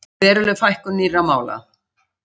Veruleg fækkun nýrra mála